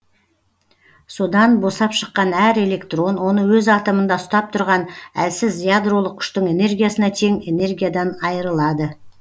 содан босап шыққан әр электрон оны өз атомында ұстап тұрған әлсіз ядролық күштің энергиясына тең энергиядан айырылады